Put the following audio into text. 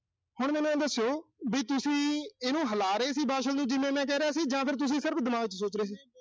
ਹੁਣ ਤੁਸੀਂ ਮੈਨੂੰ ਆਏਂ ਦੱਸੋ, ਵੀ ਤੁਸੀਂ ਇਹਨੂੰ ਹਿਲਾ ਰਹੇ ਸੀ, ਵਾਸ਼ਲ ਨੂੰ ਜਿਵੇਂ ਮੈਂ ਕਹਿ ਰਿਹਾ ਸੀ ਜਾਂ ਫਿਰ ਤੁਸੀਂ ਸਿਰਫ਼ ਦਿਮਾਗ ਚ ਸੋਚ ਰਹੇ ਸੀ